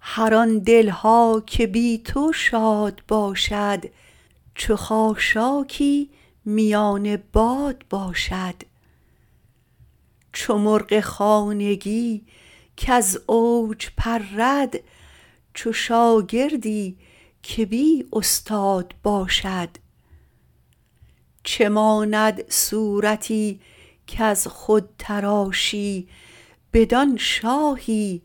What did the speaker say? هر آن دل ها که بی تو شاد باشد چو خاشاکی میان باد باشد چو مرغ خانگی کز اوج پرد چو شاگردی که بی استاد باشد چه ماند صورتی کز خود تراشی بدان شاهی